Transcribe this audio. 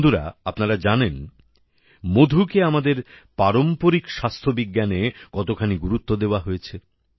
বন্ধুরা আপনারা জানেন মধুকে আমাদের পারম্পরিক স্বাস্থ্যবিজ্ঞানে কতখানি গুরুত্ব দেওয়া হয়েছে